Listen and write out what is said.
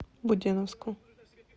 буденновску